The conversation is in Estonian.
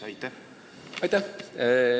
Aitäh!